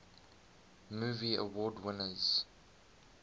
movie award winners